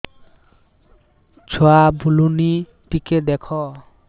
ଛୁଆ ବୁଲୁନି ଟିକେ ଦେଖ